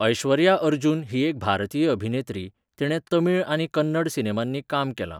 ऐश्वर्या अर्जुन ही एक भारतीय अभिनेत्री, तिणें तमिळ आनी कन्नड सिनेमांनी काम केलां.